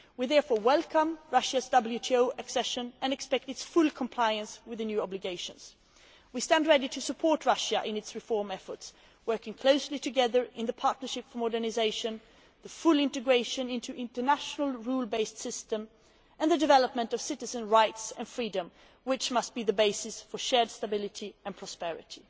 We therefore welcome Russia's WTO accession and expect its full compliance with the new obligations. We stand ready to support Russia in its reform efforts, working closely together in the Partnership for Modernisation, the full integration into the international rules based system, and the development of citizens' rights and freedoms, which must be the basis for shared stability and prosperity.